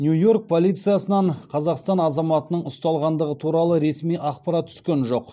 нью йорк полициясынан қазақстан азаматының ұсталғандығы туралы ресми ақпарат түскен жоқ